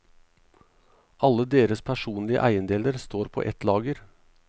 Alle deres personlige eiendeler står på et lager.